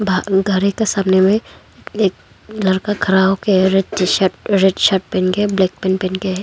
गा ओ गाड़ी के सामने में एक लड़का खड़ा हो के है red T shirt red shirt पहन के ब्लैक पैंट पहन के है।